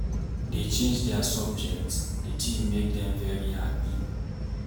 Dey change their subjects, the thing make dem very happy